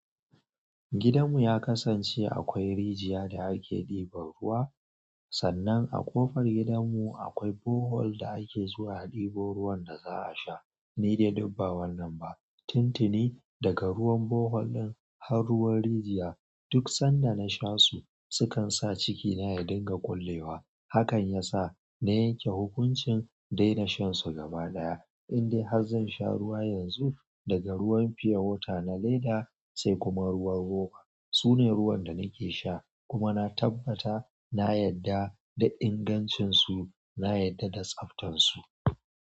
Gidan mu ya kasance akwai rijiya da ake ɗiban ruwa. Sannan a ƙofar gidan mu akwai bohol da ake zuwa ɗiban ruwan da za a sha. Ni dai dubba wannan ba. Tintini daga ruwan bohol ɗin har ruwan rijiya duk sanda na sha su sukan sa ciki na ya dinga ƙullewa. Hakan ya sa meyeke hukuncin in daina shan su gaba ɗaya. Indai har zan sha ruwa yanzu, daga ruwan pure water na leda sai kuma ruwan roba. Su ne ruwan da nake sha kuma na tabbata na yadda da ingancin su, na yadda da tsaftan su.